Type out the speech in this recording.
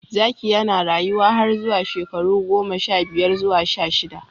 Zaki yana rayuwa har zuwa shekaru goma sha biyar zuwa sha shida.